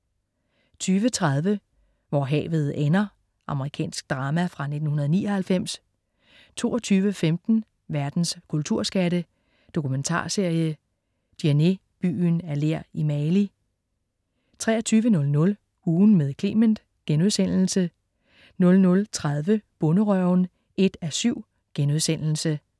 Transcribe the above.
20.30 Hvor havet ender. Amerikansk drama fra 1999 22.15 Verdens kulturskatte. Dokumentarserie. "Djenné byen af ler i Mali" 23.00 Ugen med Clement* 00.30 Bonderøven 1:7*